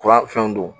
Kura fɛnw don